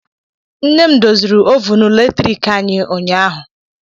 Nne m doziri ovunu latriki anyị ụnyaahụ.